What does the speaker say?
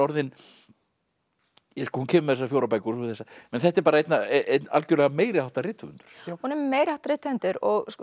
hún kemur með þessar fjórar bækur og þessa þetta er einn einn algjörlega meiriháttar rithöfundur hún er meiriháttar rithöfundur